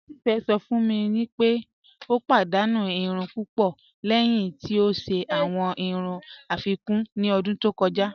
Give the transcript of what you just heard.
Tífé sọ̀ fún mí pé o padànú ìrùn púpọ̀ lẹ́hìn tí o ṣẹ̀ awọn ìrùn afíkún ní ọ̀dún tó kọja.